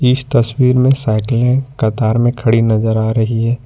इस तस्वीर में साइकिले कतार में खड़ी नजर आ रही है।